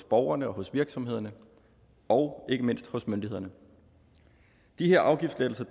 borgerne og virksomhederne og ikke mindst myndighederne de her afgiftslettelser